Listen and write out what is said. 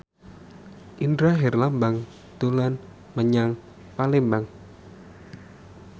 Indra Herlambang dolan menyang Palembang